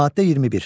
Maddə 21.